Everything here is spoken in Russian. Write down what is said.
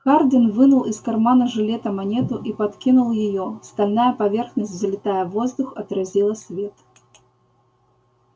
хардин вынул из кармана жилета монету и подкинул её стальная поверхность взлетая в воздух отразила свет